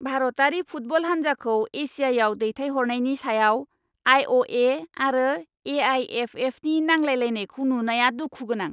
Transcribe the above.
भारतारि फुटबल हान्जाखौ एशियाआव दैथायहरनायनि सायाव आइ. अ. ए. आरो ए. आइ. एफ. एफ. नि नांलायलायनायखौ नुनाया दुखु गोनां।